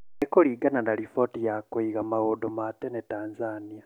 Nĩ kũringana na riboti ya kũiga maundũ matene Tanzania